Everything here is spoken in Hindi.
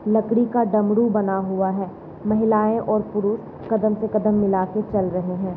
लकड़ी का डमरू बना हुआ है महिलाएं और पुरुष कदम से कदम मिला कर चल रहे हैं।